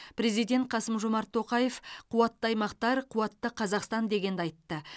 президент қасым жомарт тоқаев қуатты аймақтар қуатты қазақстан дегенді айтты